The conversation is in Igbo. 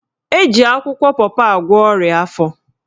Eji akwụkwọ pọpọ agwọ ọrịa afọ